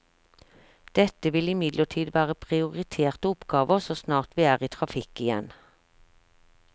Dette vil imidlertid være prioriterte oppgaver så snart vi er i trafikk igjen.